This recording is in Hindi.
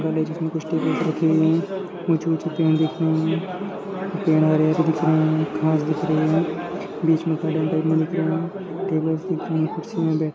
जिसमें कुछ टेबल पर रखे हुए हैं ऊंचे ऊंचे पेड़ दिख रहें हैं। पेड और दिख रहे हैं घास दिख रहे हैं बिच में दिख रहे हैं टेबल दिख रहे हैं कुरसियां